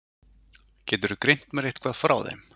Geturðu greint mér eitthvað frá þeim?